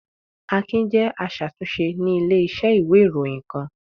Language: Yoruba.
Akin jẹ́ aṣàtúnṣe ní ilé-iṣẹ́ ìwé-ìròyìn kan.